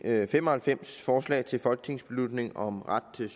fem og halvfems forslag til folketingsbeslutning om ret til